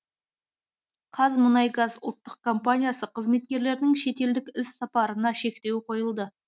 қазмұнайгаз ұлттық компаниясы қызметкерлерінің шетелдік іс сапарларына шектеу қойылды